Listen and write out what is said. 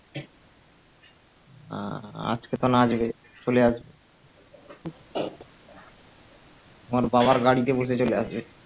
আহ আজকে তো নাচবে চলে আসবে তোমার বাবার গাড়িতে বসে চলে আসবে